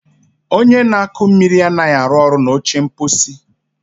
Onye na-akụ mmiri anaghị arụ ọrụ na oche mposi.